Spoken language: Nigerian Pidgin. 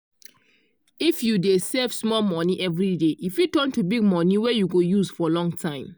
if you dey save small monie every day e fit turn to big monie wey you go use for long time.